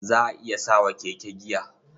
Za a iya sa wa keke giya.